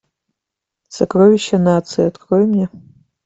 сокровища нации открой мне